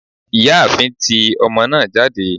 ìyáàfín, tí omo naa jade